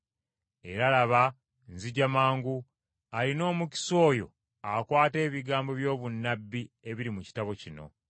“Era laba, nzija mangu. Alina omukisa oyo akwata ebigambo by’obunnabbi ebiri mu kitabo kino.”